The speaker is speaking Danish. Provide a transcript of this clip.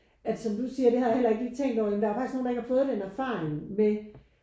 At som du siger det har jeg heller ikke lige tænkt over men der er jo faktisk nogen der ikke har fået den erfaring med